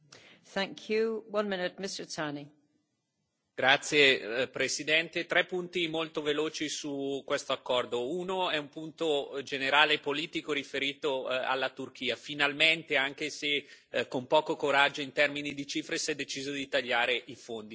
Signora Presidente, onorevoli colleghi, tre punti molto veloci su questo accordo. Uno è un punto generale e politico riferito alla Turchia. Finalmente, anche se con poco coraggio in termini di cifre, si è deciso di tagliare i fondi.